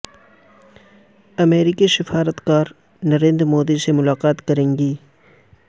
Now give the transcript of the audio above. امریکی سفارت کار نریندر مودی سے ملاقات کریں گی